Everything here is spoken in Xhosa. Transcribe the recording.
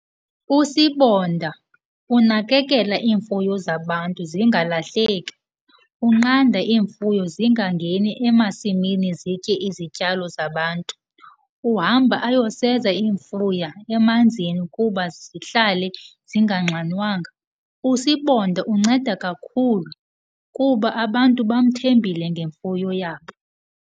Usibonda unakekela iimfuyo zabantu zingalahleki, unqanda iimfuyo zingangeni emasimini zitye izityalo zabantu, uhamba ayoseza iimfuya emanzini ukuba zihlale zinganxanwanga. Usibonda unceda kakhulu kuba abantu bamthembile ngemfuyo yabo.